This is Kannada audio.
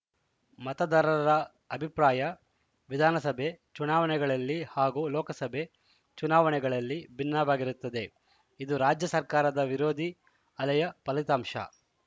ಮತದಾರರ ಅಭಿಪ್ರಾಯ ವಿಧಾನಸಭೆ ಚುನಾವಣೆಗಳಲ್ಲಿ ಹಾಗೂ ಲೋಕಸಭೆ ಚುನಾವಣೆಗಳ ಲ್ಲಿ ಭಿನ್ನವಾಗಿರುತ್ತದೆ ಇದು ರಾಜ್ಯ ಸರ್ಕಾರದ ವಿರೋಧಿ ಅಲೆಯ ಫಲಿತಾಂಶ